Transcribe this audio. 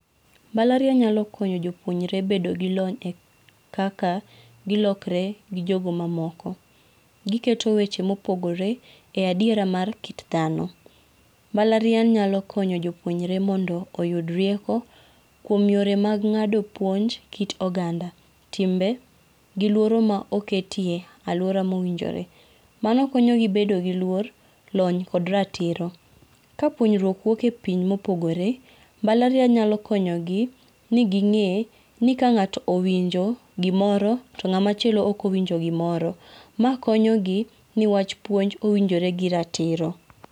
Mbalariany nyalo konyo jopuonjre bedo gi lony kaka gilokre gi jogo mamoko. Giketo weche mopogore e adiera mar kit dhano. Mbalariany nyalo konyo jopuonjre mondo oyud rieko kuom yore mag ng'ado puonj kit oganda, timbe gi luoro ma oketie aluora mowinjore mano konyogi bedo gi luor, lony kod ratiro. Kapuonjruok wuok epiny mopogore mbalariany nyalo konyo gi ni gi ng'e ni ka ng'ato owinjo gi moro to ng'ama chielo ok owinjo gimoro ma konyo ni wach puonj owinjore gi ratiro.